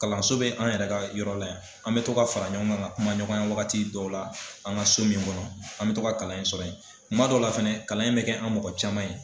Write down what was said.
Kalanso bɛ an yɛrɛ ka yɔrɔ la yan an mɛ to ka fara ɲɔgɔn kan ka kuma ɲɔgɔnya wagati dɔw la an ka so nin kɔnɔ an mɛ to ka kalan in sɔrɔ ye kuma dɔ la fɛnɛ kalan in bɛ kɛ an mɔgɔ caman ye.